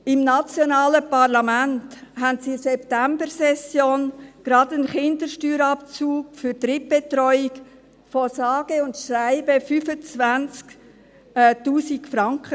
Im nationalen Parlament beschlossen sie in der Septembersession gerade einen Kindersteuerabzug für Drittbetreuung von sage und schreibe 25 000 Franken.